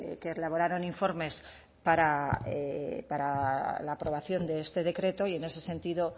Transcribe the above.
que elaboraron informes para la aprobación de este decreto y en ese sentido